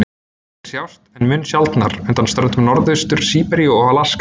Þeir sjást, en mun sjaldnar, undan ströndum Norðaustur-Síberíu og Alaska.